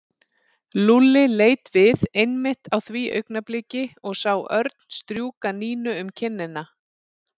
Lúlli leit við einmitt á því augnabliki og sá Örn strjúka Nínu um kinnina.